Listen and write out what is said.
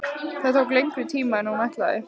Það tók lengri tíma en hún ætlaði.